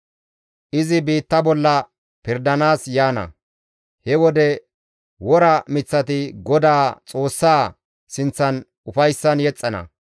Izi biitta bolla pirdanaas yaana. He wode wora miththati Godaa Xoossaa sinththan ufayssan yexxana.